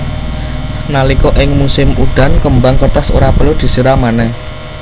Nalika ing musim udan kembang kertas ora perlu disiram manèh